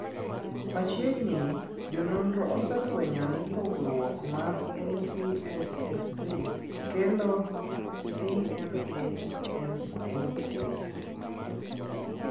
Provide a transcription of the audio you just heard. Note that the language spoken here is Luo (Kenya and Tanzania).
Machiegni ni ,jo nonro osefwenyo ni pogruok mar ACSF3 kelo CMAMMA.